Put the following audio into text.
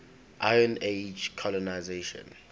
iron age colonisation